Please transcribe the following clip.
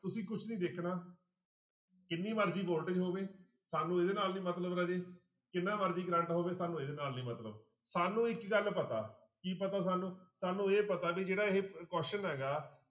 ਤੁਸੀਂ ਕੁਛ ਨੀ ਦੇਖਣਾ ਕਿੰਨੀ ਮਰਜ਼ੀ voltage ਹੋਵੇ ਸਾਨੂੰ ਇਹਦੇ ਨਾਲ ਨੀ ਮਤਲਬ ਰਾਜੇ ਕਿੰਨਾ ਮਰਜ਼ੀ ਕਰੰਟ ਹੋਵੇ ਸਾਨੂੰ ਇਹਦੇ ਨਾਲ ਨੀ ਮਤਲਬ ਸਾਨੂੰ ਇੱਕ ਗੱਲ ਪਤਾ ਕੀ ਪਤਾ ਸਾਨੂੰ ਸਾਨੂੰ ਇਹ ਪਤਾ ਵੀ ਜਿਹੜਾ ਇਹ question ਹੈਗਾ